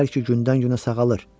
Deyirlər ki, gündən-günə sağalır.